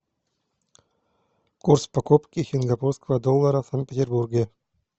курс покупки сингапурского доллара в санкт петербурге